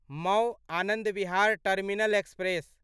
Mau Anand Vihar terminal express